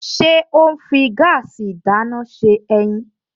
Ṣé ó ń fi gáàsì ìdáná ṣe ẹyin?